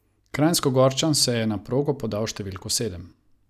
Kranjskogorčan se je na progo podal s številko sedem.